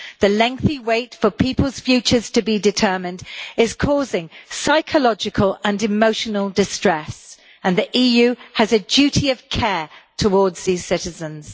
The lengthy wait for people's futures to be determined is causing psychological and emotional distress, and the EU has a duty of care towards these citizens.